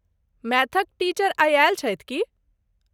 मैथक teacher आई आयल छथि की?